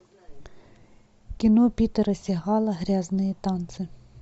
кино питера сигала грязные танцы